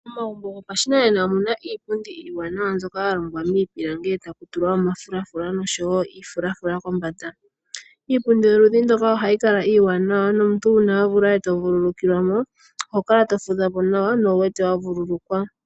Momagumbo gopashinanena omuna iipundi iiwanawa mbyoka yalongwa miipilangi eta yi tulwa omafulafula noshowo iifulafula kombanda. Iipundi yoludhi ndoka ohayi kala iiwanawa , nomuntu una wa vulwa eto vululukilwa mo oho to fudha po nawa nowu wete vululukwa.